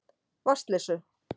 Vatnsleysu